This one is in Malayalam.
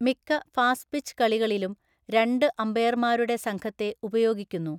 മിക്ക ഫാസ്റ്റ്പിച്ച് കളികളിലും രണ്ട് അമ്പയർമാരുടെ സംഘത്തെ ഉപയോഗിക്കുന്നു.